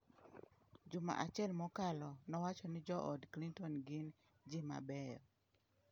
Juma achiel mokalo, nowacho ni jood Clinton gin “ji mabeyo”.